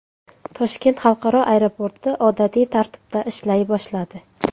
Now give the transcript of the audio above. Toshkent xalqaro aeroporti odatiy tartibda ishlay boshladi.